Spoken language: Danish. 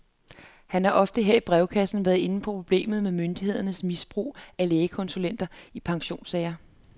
Han har ofte her i brevkassen været inde på problemet med myndighedernes misbrug af lægekonsulenter i pensionssager.